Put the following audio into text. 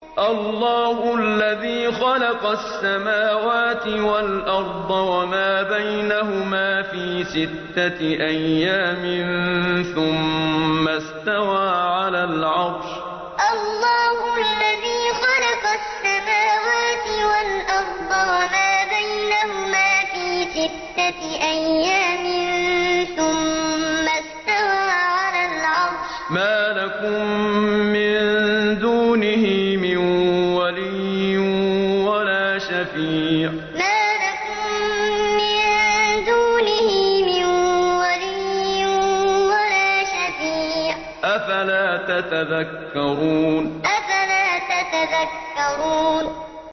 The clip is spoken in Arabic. اللَّهُ الَّذِي خَلَقَ السَّمَاوَاتِ وَالْأَرْضَ وَمَا بَيْنَهُمَا فِي سِتَّةِ أَيَّامٍ ثُمَّ اسْتَوَىٰ عَلَى الْعَرْشِ ۖ مَا لَكُم مِّن دُونِهِ مِن وَلِيٍّ وَلَا شَفِيعٍ ۚ أَفَلَا تَتَذَكَّرُونَ اللَّهُ الَّذِي خَلَقَ السَّمَاوَاتِ وَالْأَرْضَ وَمَا بَيْنَهُمَا فِي سِتَّةِ أَيَّامٍ ثُمَّ اسْتَوَىٰ عَلَى الْعَرْشِ ۖ مَا لَكُم مِّن دُونِهِ مِن وَلِيٍّ وَلَا شَفِيعٍ ۚ أَفَلَا تَتَذَكَّرُونَ